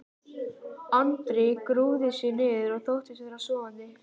Andri grúfði sig niður og þóttist vera sofandi.